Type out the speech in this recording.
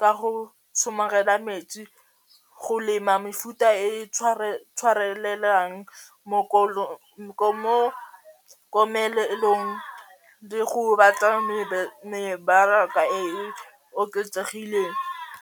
ka go somarela metsi, go lema mefuta e tshwarelang mo komelelong le go batla mebaraka e e oketsegileng.